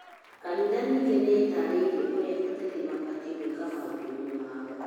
katiba ningĩ nĩ ĩtarĩirie ũrĩa ateti mabatiĩ gwĩka maũndũ mao